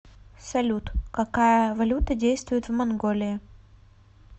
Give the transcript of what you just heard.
салют какая валюта действует в монголии